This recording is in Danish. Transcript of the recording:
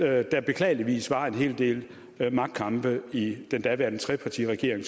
at der beklageligvis var en hel del magtkampe i den daværende trepartiregering